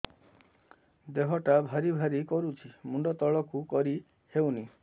ଦେହଟା ଭାରି ଭାରି କରୁଛି ମୁଣ୍ଡ ତଳକୁ କରି ହେଉନି